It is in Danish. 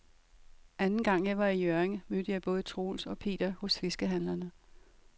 Anden gang jeg var i Hjørring, mødte jeg både Troels og Per hos fiskehandlerne.